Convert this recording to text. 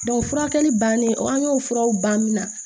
furakɛli bannen an y'o furaw ban min na